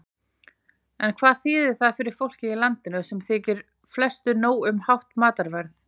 En hvað þýðir það fyrir fólkið í landinu, sem þykir flestu nóg um hátt matarverð?